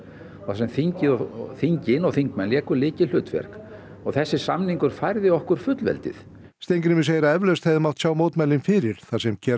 þar sem þingin og þingin og þingmenn léku lykilhlutverk og þessi samningur færði okkur fullveldið Steingrímur segir að eflaust hefði mátt sjá mótmælin fyrir þar sem